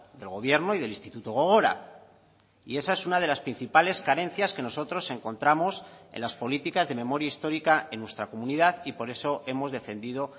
del gobierno y del instituto gogora y esa es una de las principales carencias que nosotros encontramos en las políticas de memoria histórica en nuestra comunidad y por eso hemos defendido